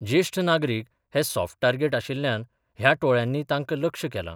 जेष्ठ नागरिक हे सॉफ्ट टार्गेट आशिल्ल्यान ह्या टोळयांनी तांका लक्ष्य केलां.